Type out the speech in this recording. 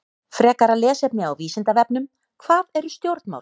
Frekara lesefni á Vísindavefnum: Hvað eru stjórnmál?